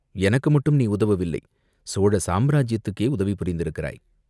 எனக்கு மட்டும் நீ உதவவில்லை, சோழ சாம்ராஜ்யத்துக்கே உதவி புரிந்திருக்கிறாய்.